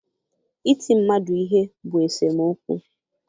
Iti mmadụ ihe bụ esemokwu.